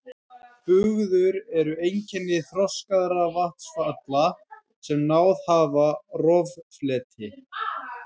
Bugður eru einkenni þroskaðra vatnsfalla sem náð hafa roffleti.